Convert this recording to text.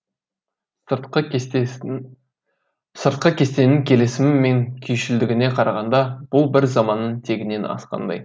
сыртқы кестенің келісімі мен күйшілдігіне қарағанда бұл бір заманның тегінен асқандай